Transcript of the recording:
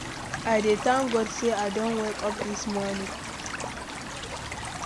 I dey thank God sey I don wake up dis morning.